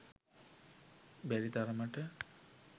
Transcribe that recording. බැරි තරමට